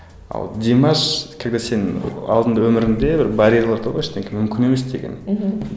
а вот димаш когда сен алдыңда өмірің де бір барьерлар тұр ғой ештеңе мүмкін емес деген мхм